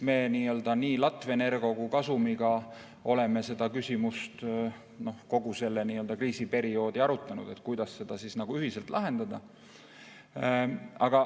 Me nii Latvenergo kui ka Gasumiga oleme kogu sellel kriisiperioodil arutanud, kuidas seda ühiselt lahendada.